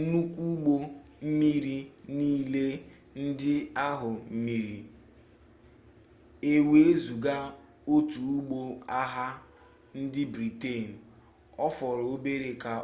nnukwu ụgbọ mmiri niile ndị ahụ miri ewezụga otu ụgbọ agha ndị briten ọ fọrọ obere ka